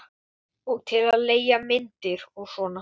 Og til að leigja myndir og svona.